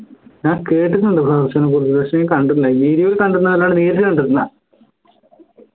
ഞാൻ കേട്ടിട്ടുണ്ട് flower show നെ കുറിച്ചിട്ട് പക്ഷേ കണ്ടില്ല ഞാൻ video ൽ കണ്ടിട്ടുണ്ടെന്ന്ല്ലാണ്ട് നേരിട്ട് കണ്ടിട്ടില്ല